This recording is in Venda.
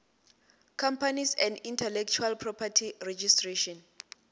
companies and intellectual property registration